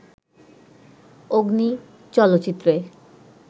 'অগ্নি' চলচ্চিত্রে